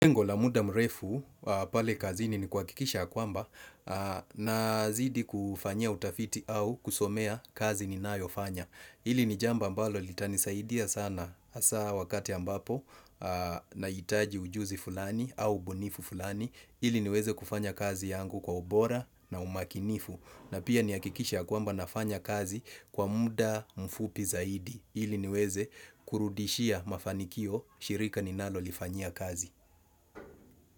Lengo la muda mrefu pale kazini ni kuwakikisha kwamba nazidi kufanya utafiti au kusomea kazi ninayo fanya. Ili ni jambo ambalo litanisaidia sana hasa wakati ambapo naitaji ujuzi fulani au ubunifu fulani. Ili niweze kufanya kazi yangu kwa ubora na umakinifu. Na pia niakikishe kwamba nafanya kazi kwa muda mfupi zaidi. Ili niweze kurudishia mafanikio shirika ninalo lifanyia kazi.